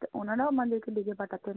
তো ওনারও আমাদেরকে ডেকে পাঠাতেন।